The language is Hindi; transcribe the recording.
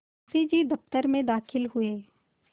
मुंशी जी दफ्तर में दाखिल हुए